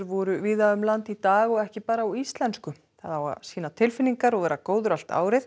voru víða um land í dag og ekki bara á íslensku sýna tilfinningar og vera góður allt árið